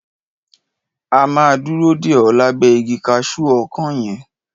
A máa dúró dè o lábẹ́ igi kaṣu ọkán yẹn.